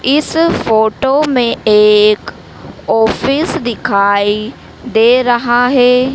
इस फोटो मे एक ऑफिस दिखाई दे रहा है।